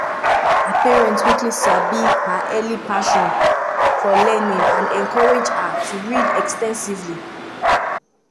her parents quickly sabi her early passion for learning and encourage her to read ex ten sively.